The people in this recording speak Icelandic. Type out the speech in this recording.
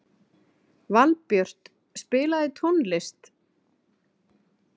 Valbjört, spilaðu tónlist.